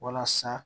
Walasa